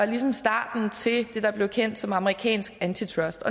ligesom starten til det der blev kendt som amerikansk antitrust